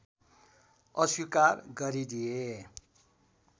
अस्वीकार गरिदिए